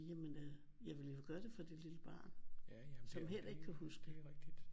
Jamen øh jeg ville jo gøre det for det lille barn som heller ikke kan huske